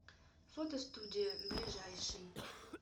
фотостудия ближайший